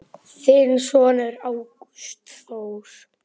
Þinn sonur, Ágúst Þór.